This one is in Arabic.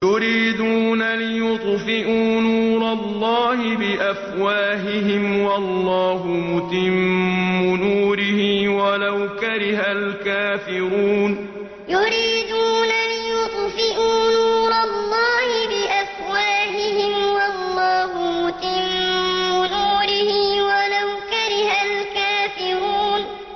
يُرِيدُونَ لِيُطْفِئُوا نُورَ اللَّهِ بِأَفْوَاهِهِمْ وَاللَّهُ مُتِمُّ نُورِهِ وَلَوْ كَرِهَ الْكَافِرُونَ يُرِيدُونَ لِيُطْفِئُوا نُورَ اللَّهِ بِأَفْوَاهِهِمْ وَاللَّهُ مُتِمُّ نُورِهِ وَلَوْ كَرِهَ الْكَافِرُونَ